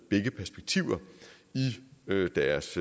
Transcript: begge perspektiver med i deres